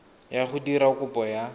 ya go dira kopo ya